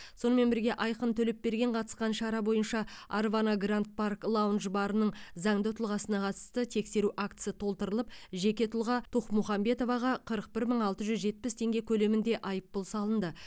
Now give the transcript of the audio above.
сонымен бірге айқын төлепберген қатысқан шара бойынша арвана гранд парк лаунж барының заңды тұлғасына қатысты тексеру актісі толтырылып жеке тұлға тухмухамбетоваға қырық бір мың алты жүз жетпіс теңге көлемінде айыппұл салынды